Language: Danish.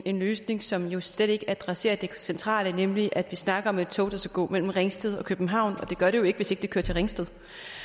en løsning som jo slet ikke adresserer det centrale nemlig at vi snakker om et tog der skal gå mellem ringsted og københavn og det gør det jo ikke hvis ikke det kører til ringsted